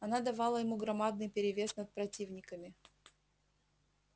она давала ему громадный перевес над противниками